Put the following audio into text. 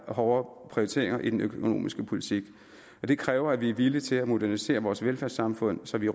hårdere prioriteringer i den økonomiske politik og det kræver at vi er villige til at modernisere vores velfærdssamfund så vi